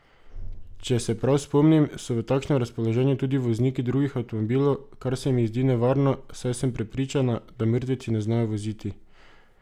Če pa se prav spomnim, so v takšnem razpoloženju tudi vozniki drugih avtomobilov, kar se mi zdi nevarno, saj sem prepričana, da mrtveci ne znajo voziti.